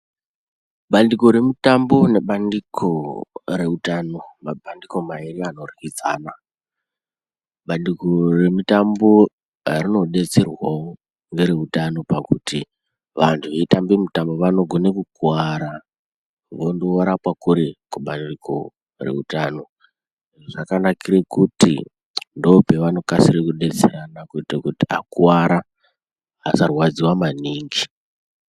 Vanduko remutambo nebandiko reutano mabandiko mawiri anodyidzana banduko remutambo rinobetserwawo nereutano pakuti vandu veyitambe mutambo vanogone kukwara vondorapwa kuri kubandiko reutano zvakanakire kuti ndopavano kasire kubetserana kuite kuti akuwara asarwadziwe maningi.